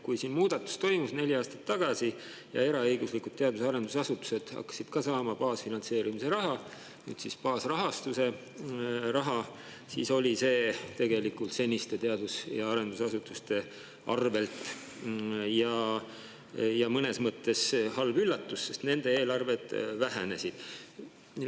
Kui neli aastat tagasi toimus muudatus ja eraõiguslikud teadus- ja arendusasutused hakkasid ka saama baasfinantseerimise raha – nüüd on see baasrahastus –, siis oli see tegelikult teadus- ja arendusasutuste arvelt ja neile mõnes mõttes halb üllatus, sest nende eelarved vähenesid.